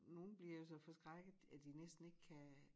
Nogen bliver jo så forskrækket at de næsten ikke kan